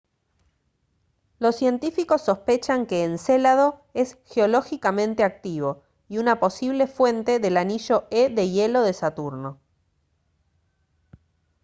los científicos sospechan que encélado es geológicamente activo y una posible fuente del anillo e de hielo de saturno